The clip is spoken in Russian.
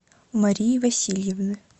марии васильевны